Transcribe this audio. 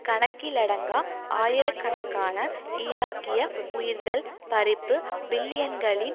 கணக்கிலடங்கா ஆயிரக்கணக்கான ஈராக்கிய உயிர்கள் பறிப்பு பில்லியன்களின்